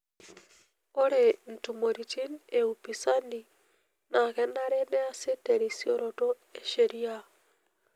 Ore ntumoritin e upisani naa kenare neasi terisioroto e sheria.